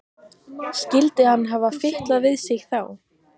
Skyldi hann hafa fitlað við sig þá?